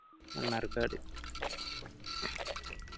Mannarkkad